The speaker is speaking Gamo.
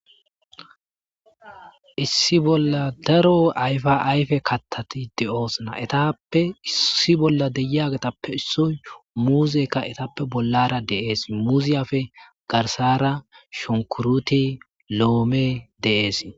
issi bolla daro ayfa ayfe kattati de'oosna etappe issi bolla deyagetappe issoy muuzekka etappe bollara de'ees muziyafe garsara shonkuruti loome de'ees